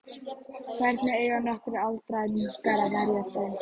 Hvernig eiga nokkrir aldraðir munkar að verjast þeim?